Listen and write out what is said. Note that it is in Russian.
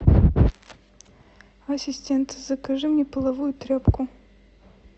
ассистент закажи мне половую тряпку